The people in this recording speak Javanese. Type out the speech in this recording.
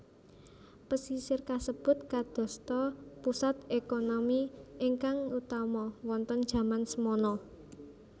Pesisir kasebut kadosta pusat ekonami ingkang utama wonten jaman semana